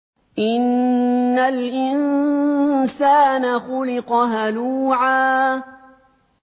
۞ إِنَّ الْإِنسَانَ خُلِقَ هَلُوعًا